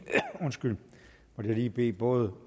lige bede både